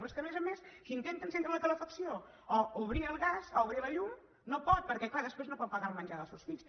però és que a més a més qui intenta encendre la calefacció o obrir el gas o obrir la llum no pot perquè clar després no pot pagar el menjar dels seus fills